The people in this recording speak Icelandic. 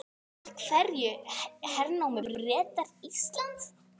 Af hverju hernámu Bretar Ísland?